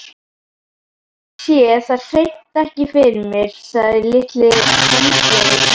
Ég sé það hreint ekki fyrir mér, sagði litli höndlarinn.